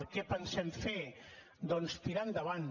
què pensem fer doncs tirar endavant